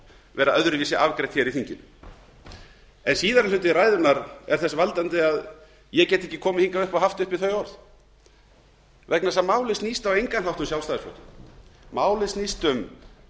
vera öðruvísi afgreitt hér í þinginu síðari hluti ræðunnar veldur því hins vegar að ég get ekki komið hingað upp og haft uppi þau orð vegna þess að málið snýst ekki um sjálfstæðisflokkinn málið snýst um